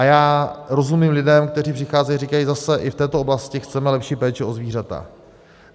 A já rozumím lidem, kteří přicházejí a říkají zase, i v této oblasti chceme lepší péči o zvířata.